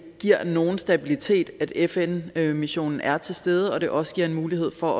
giver nogen stabilitet at fn missionen er til stede og at det også giver en mulighed for